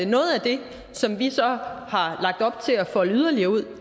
noget af det som vi så har lagt op til at folde yderligere ud